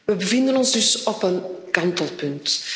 We bevinden ons dus op een kantelpunt.